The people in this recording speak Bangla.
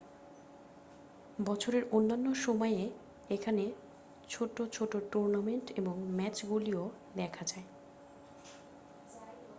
বছরের অন্যান্য সময়ে এখানে ছোট ছোট টুর্নামেন্ট এবং ম্যাচগুলিও দেখা যায়